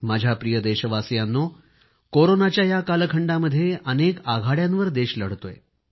माझ्या प्रिय देशवासियांनो कोरोनाच्या या कालखंडामध्ये अनेक आघाड्यांवर देश लढतोय